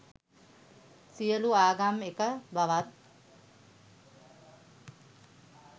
සියලූ ආගම් එක බවත්.